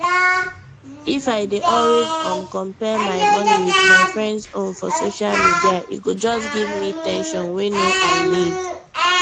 if i dey always um compare my money with my friends own for social media e go just give me ten sion wey no i need